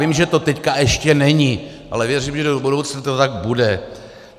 Vím, že to teď ještě není, ale věřím, že do budoucna to tak bude.